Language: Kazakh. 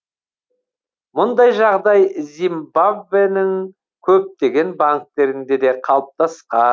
мұндай жағдай зимбабвенің көптеген банктерінде де қалыптасқан